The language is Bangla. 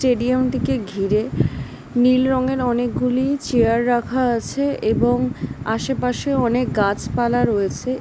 স্টেডিয়ামটিকে ঘিরে নীল রঙের অনেকগুলি চেয়ার রাখা আছে এবং আশেপাশে অনেক গাছপালা রয়েছে।